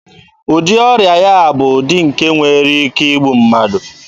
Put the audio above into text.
Ụdị ọrịa ya a bụ ụdị nke nwere ike igbu mmadụ.